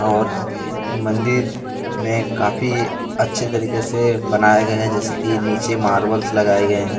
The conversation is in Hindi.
और मंदिर में काफी अच्छे तरीके से बनाया गया है जैसे की नीचे मार्बल्स लगाए गए हैं।